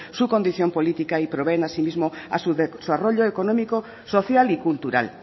su condición política y proveen asimismo a su desarrollo económico social y cultural